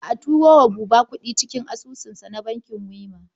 Ba turo wa Buba kuɗi cikin asusunsa na bankin Wema.